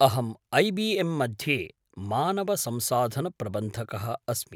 अहम् ऐ.बि.एम्. मध्ये मानवसंसाधनप्रबंधकः अस्मि।